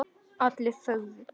Allir þögðu.